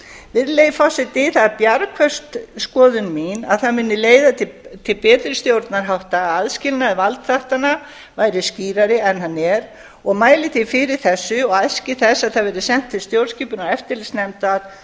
virðulegi forseti það er bjargföst skoðun mín að það muni leiða til betri stjórnarhátta að aðskilnaður valdþáttanna væri skýrari en hann er og mæli því fyrir þessu og æski þess að það verði sent til stjórnskipunar og eftirlitsnefndar